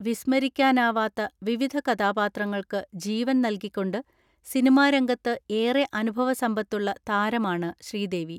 വിസ്മരിക്കാനാവാത്ത വിവിധ കഥാപാത്രങ്ങൾക്ക് ജീവൻ നൽകിക്കൊണ്ട് സിനിമാരംഗത്ത് ഏറെ അനുഭവ സമ്പത്തുള്ള താരമാണ് ശ്രീദേവി.